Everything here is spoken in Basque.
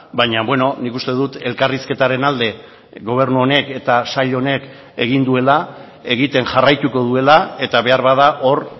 baina nik uste dut elkarrizketaren alde gobernu honek eta sail honek egin duela egiten jarraituko duela eta beharbada hor